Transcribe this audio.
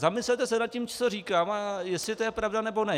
Zamyslete se nad tím, co říkám, a jestli to je pravda, nebo ne.